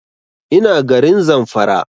Ina garin Zamfara